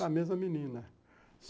Com a mesma menina.